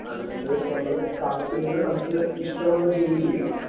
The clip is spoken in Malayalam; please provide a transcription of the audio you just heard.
അതുകൊണ്ട് നമ്മള് കാത്തിരുന്ന് നമ്മക്ക് ഇഷ്ടമുള്ള ജോലി ചെയ്യണം.